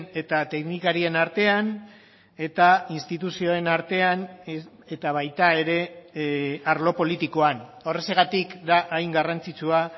eta teknikarien artean eta instituzioen artean eta baita ere arlo politikoan horrexegatik da hain garrantzitsua